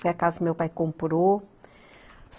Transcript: Foi a casa que meu pai comprou.